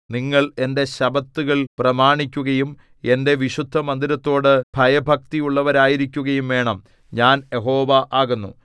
നിങ്ങൾ എന്റെ ശബ്ബത്തുകൾ പ്രമാണിക്കുകയും എന്റെ വിശുദ്ധമന്ദിരത്തോടു ഭയഭക്തിയുള്ളവരായിരിക്കുകയും വേണം ഞാൻ യഹോവ ആകുന്നു